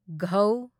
ꯘ